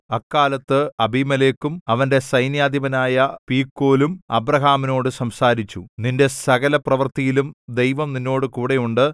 അക്കാലത്ത് അബിമേലെക്കും അവന്റെ സൈന്യാധിപനായ പീക്കോലും അബ്രാഹാമിനോട് സംസാരിച്ചു നിന്റെ സകലപ്രവൃത്തിയിലും ദൈവം നിന്നോടുകൂടെയുണ്ട്